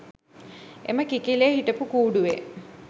එම කිකිළිය හිටපු කූඩුවේ